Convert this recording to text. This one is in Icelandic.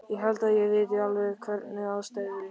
Ég held að ég viti alveg hvernig aðstæður ykkar eru.